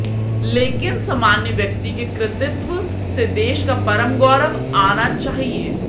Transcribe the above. लेकिन सामान्य व्यक्ति के कृतित्व से देश का परम गौरव आना चाहिए